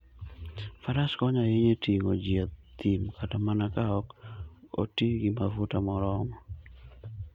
Faras konyo ahinya e ting'o ji e thim, kata mana ka ok oti gi mafuta moromo.